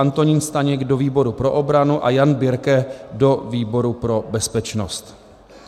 Antonín Staněk do výboru pro obranu a Jan Birke do výboru pro bezpečnost.